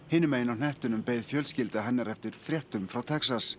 hinum megin á hnettinum beið fjölskylda hennar eftir fréttum frá Texas